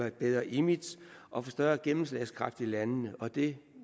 et bedre image og få større gennemslagskraft i landene og det